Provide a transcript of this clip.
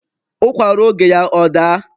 Ụkwa ruo oge ya, ọ daa.